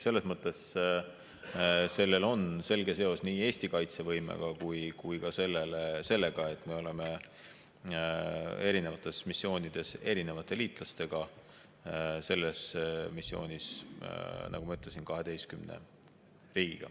Selles mõttes sellel on selge seos nii Eesti kaitsevõimega kui ka sellega, et me oleme erinevates missioonides erinevate liitlastega, selles missioonis, nagu ma ütlesin, 12 riigiga.